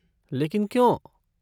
लेकिन क्यों?